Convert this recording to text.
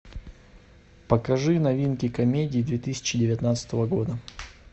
покажи новинки комедий две тысячи девятнадцатого года